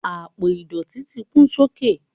apo idọti ti kún sókè